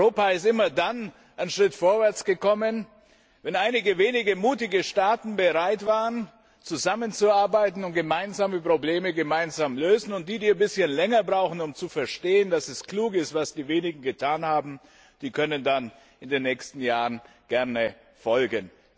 Europa ist immer dann einen Schritt vorwärts gekommen, wenn einige wenige mutige Staaten bereit waren, zusammenzuarbeiten und gemeinsame Probleme gemeinsam lösen, und die, die ein bisschen länger brauchen, um zu verstehen, dass es klug ist, was die wenigen getan haben, die können dann in den nächsten Jahren gerne folgen.